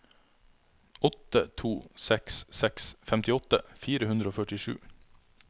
åtte to seks seks femtiåtte fire hundre og førtisju